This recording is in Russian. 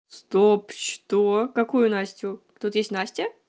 стоп что какую настю тут есть настя